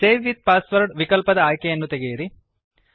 save with password ವಿಕಲ್ಪದ ಆಯ್ಕೆಯನ್ನು ತೆಗೆಯಿರಿ ಅನ್ ಚೆಕ್